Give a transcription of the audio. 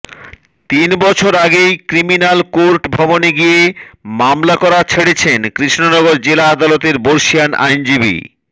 তিন বছর আগেই ক্রিমিনাল কোর্ট ভবনে গিয়ে মামলা করা ছেড়েছেন কৃষ্ণনগর জেলা আদালতের বর্ষীয়ান আইনজীবী